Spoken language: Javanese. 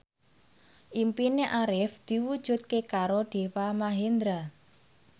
impine Arif diwujudke karo Deva Mahendra